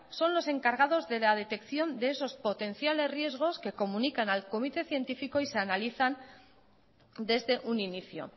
son los encargados de la detección de esos potenciales riesgos que comunican al comité científico y se analizan desde un inicio